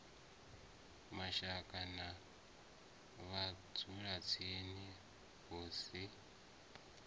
mashaka na vhadzulatsini hu si